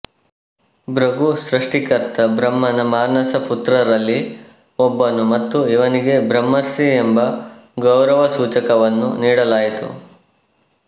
ಭೃಗು ಸೃಷ್ಟಿಕರ್ತ ಬ್ರಹ್ಮನ ಮಾನಸ ಪುತ್ರರಲ್ಲಿ ಒಬ್ಬನು ಮತ್ತು ಇವನಿಗೆ ಬ್ರಹ್ಮರ್ಷಿ ಎಂಬ ಗೌರವಸೂಚಕವನ್ನು ನೀಡಲಾಯಿತು